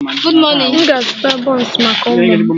M ga-azụta buns maka ụmụ m